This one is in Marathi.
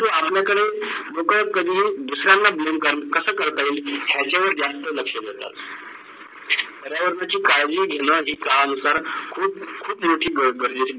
तो आपल्या कडे लोक कधीही दुसऱ्या कडे Blame कस करता येईल याचा जास्त लक्ष देतात. पर्यावरणाची काडजी घेणं की काम जर खूप - खूप मोठे गरजेची आहेत